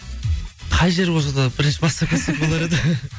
қай жер болса да бірінші бастап кетсек болар еді